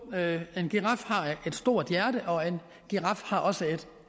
en giraf har et stort hjerte og en giraf har også